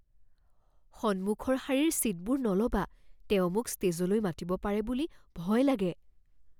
সন্মুখৰ শাৰীৰ ছীটবোৰ নল'বা। তেওঁ মোক ষ্টেজলৈ মাতিব পাৰে বুলি ভয় লাগে।